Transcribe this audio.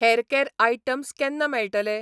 Hair कॅर items केन्ना मेळटले?